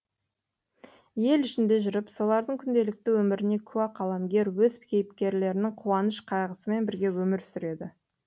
ел ішінде жүріп солардың күнделікті өміріне куә қаламгер өз кейіпкерлерінің қуаныш қайғысымен бірге өмір сүреді